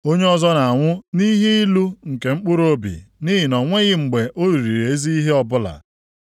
Onye ọzọ na-anwụ nʼihe ilu nke mkpụrụobi, nʼihi na o nweghị mgbe o riri ezi ihe ọbụla.